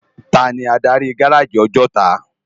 Táni ádári gáráji Òjòtá?